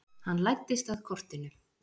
Hann læddist að kortinu.